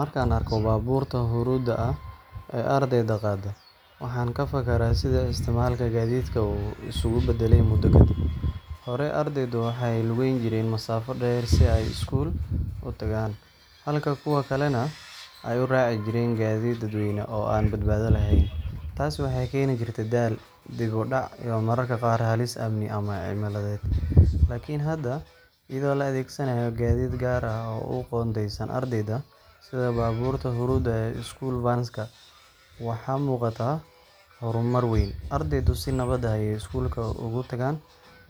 Markaan arko baabuurtaan huruudda ah ee ardayda qaada, waxaan ka fakaraa sida isticmaalka gaadiidkan uu isugu beddelay muddo kadib. Hore, arday badan waxay lugeyn jireen masaafo dheer si ay school u tagaan, halka kuwo kalena ay u raaci jireen gaadiid dadweyne oo aan badbaado lahayn. Taasi waxay keeni jirtay daal, dib u dhac iyo mararka qaar halis amni ama cimiladeed. Laakiin hadda, iyadoo la adeegsanayo gaadiid gaar ah oo u qoondeysan ardayda sida baabuurta huruudda ah ee school vans ka waxaa muuqata horumar weyn. Ardaydu si nabad ah ayay school ugu tagaan,